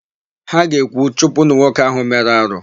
Ha ga-ekwu, "chụpụnụ nwoke áhụ̀ mere arụ"!